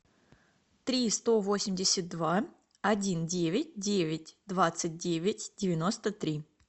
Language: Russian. три сто восемьдесят два один девять девять двадцать девять девяносто три